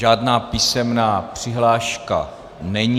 Žádná písemná přihláška není.